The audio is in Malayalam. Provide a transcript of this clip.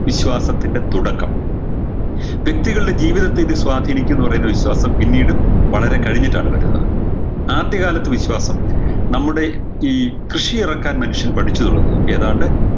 വിശ്വാസത്തിൻറെ തുടക്കം വ്യക്തികളുടെ ജീവിതത്തെ ഇത് സ്വാധീനിക്കുന്നു പറയുന്ന വിശ്വാസം പിന്നീട് വളരെ കഴിഞ്ഞിട്ടാണ് വരുന്നത് ആദ്യകാലത്ത് വിശ്വാസം നമ്മുടെ ഈ കൃഷി എറക്കാൻ മനുഷ്യൻ പഠിച്ചു തുടങ്ങുന്നൊക്കെ ഏതാണ്ട്